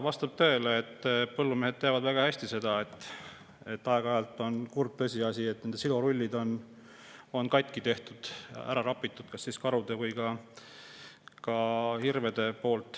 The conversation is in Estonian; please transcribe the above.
Vastab tõele see – põllumehed teavad seda väga hästi –, see on kurb tõsiasi, et aeg-ajalt on kas karud või hirved silorullid katki teinud, ära rappinud.